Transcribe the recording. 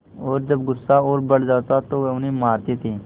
और जब गुस्सा और बढ़ जाता तो वह उन्हें मारते थे